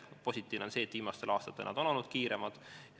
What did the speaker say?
Positiivne on see, et viimastel aastatel on see tõus olnud kiirem.